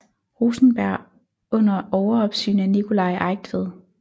Rosenberg under overopsyn af Nicolai Eigtved